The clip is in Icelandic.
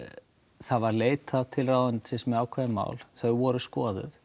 það var leitað til ráðuneytisins með ákveðið mál þau voru skoðuð